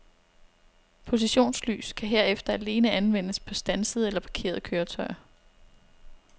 Positionslys kan herefter alene anvendes på standsede eller parkerede køretøjer.